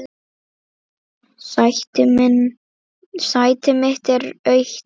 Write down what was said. Sæti mitt er autt.